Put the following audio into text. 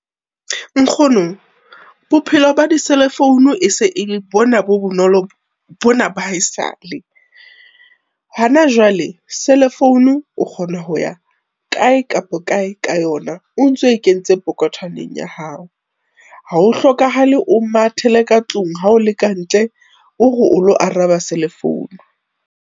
Nkgono, bophelo ba di-cellphone e se e bona bo bonolo, bona ba haesale. Hana jwale cellphone o kgona ho ya kae kapa kae ka yona, o ntso e kentse pokothwaneng ya hao. Ha ho hlokahalo o mathele ka tlung ha o leka ntle, o re o lo araba selefounu.